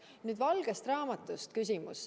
Nüüd valgest raamatust.